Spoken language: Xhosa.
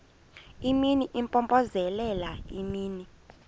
imini impompozelela imini